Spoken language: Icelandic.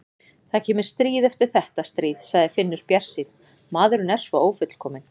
Það kemur stríð eftir þetta stríð, sagði Finnur bjartsýnn, maðurinn er svo ófullkominn.